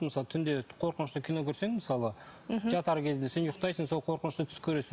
мысалы түнде қорқынышты кино көрсең мысалы жатар кезде сен ұйықтайсың сол қорқынышты түс көресің